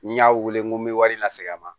Ni y'a wele n ko n bɛ wari lase a ma